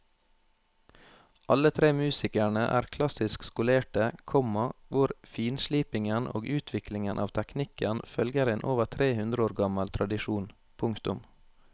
Alle tre musikerne er klassisk skolerte, komma hvor finslipingen og utviklingen av teknikken følger en over tre hundre år gammel tradisjon. punktum